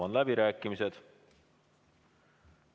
Avan läbirääkimised.